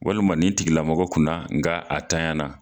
Walima ni tigilamɔgɔ kunna nka a tanya na.